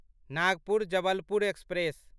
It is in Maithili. नागपुर जबलपुर एक्सप्रेस